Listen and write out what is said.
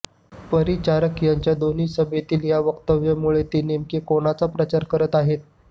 परिचारक यांच्या दोन्ही सभेतील या वक्तव्यामुळे ते नेमका कोणाचा प्रचार करत आहेत